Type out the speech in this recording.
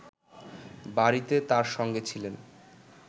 বাড়িতে তার সঙ্গে ছিলেন